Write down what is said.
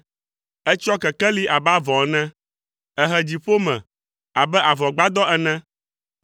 Etsyɔ kekeli abe avɔ ene, ehe dziƒo me abe avɔgbadɔ ene,